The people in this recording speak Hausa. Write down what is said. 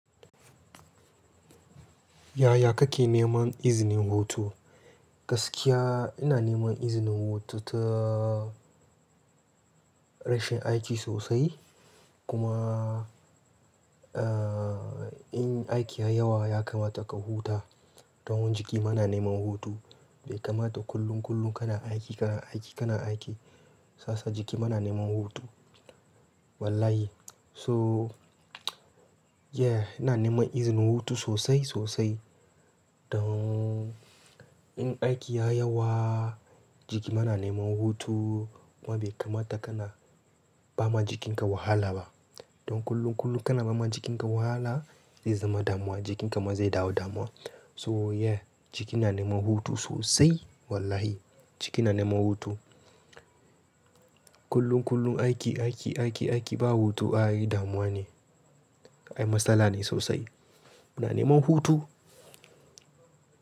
Yaya kake neman izinin hutu? Gaskiya ina neman izinin hutu ta rashin aiki sosai. Kuma, eh, in aiki ya yi yawa ya kamata ka huta. Don jiki ma na neman hutu. Bai kamata kullum, kullum kana aiki, kana aiki, kana aiki. Ka san jiki ma yana neman hutu. Wallahi. So, yeah, ina neman izinin hutu sosai, sosai. Don in aiki ya yawa jiki muna neman hutu. Kuma bai kamata kana ba ma jikinka wahala ba. Don kullum, kullum kana ba ma jikinka wahala zai zama damuwa. Jikinka ma zai dawo damuwa. So yeah, jiki na neman hutu sosai. Wallahi jiki na neman hutu. Kullum, kullum aiki, aiki, aiki, aiki ba hutu ai damuwa ne. Ayi matsala ne sosai. Muna neman hutu.